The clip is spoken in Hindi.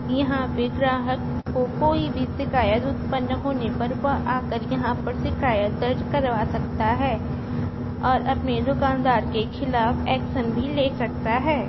यहां पर ग्राहक को कोई भी शिकायत उत्पन्न होने पर वह आकर यहां पर शिकायत दर्ज करवा सकता है और अपने दुकानदार के खिलाफ एक्शन भी ले सकता है।